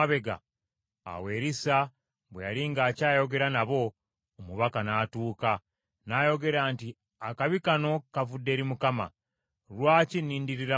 Awo Erisa bwe yali ng’akyayogera nabo, omubaka n’atuuka, n’ayogera nti, “Akabi kano kavudde eri Mukama . Lwaki nnindirira Mukama nate?”